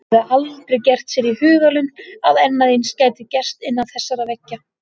Hann hafði aldrei gert sér í hugarlund að annað eins gæti gerst innan þessara veggja.